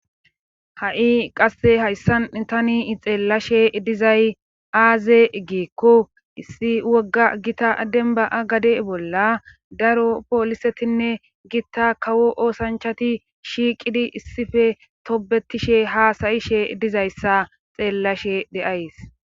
ha7i qasse hayssan tani xeellashe dizay aaze giekko issi wogga gita denba7a gade bolla daro poolisetinne gitta kawo oosanchati shiiqidi issife tobetishe haasayishe dizayssa xeellashe de7ays